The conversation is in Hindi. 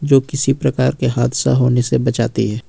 जो किसी प्रकार के हादसा होने से बचाती है।